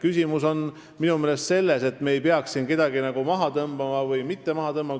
Küsimus on minu meelest selles, et me ei peaks siin kedagi maha tõmbama või mitte maha tõmbama.